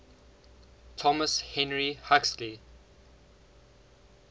thomas henry huxley